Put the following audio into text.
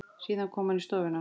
Síðan kom hann í stofuna.